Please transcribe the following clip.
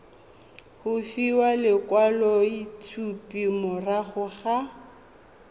go fiwa lekwaloitshupo morago ga